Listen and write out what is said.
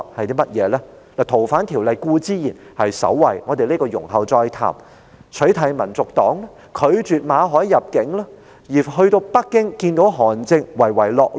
修訂《條例》固然位列首位——這方面，我們容後再談——還有取締香港民族黨、拒絕馬凱入境，以及訪問北京與韓正會面時的唯唯諾諾。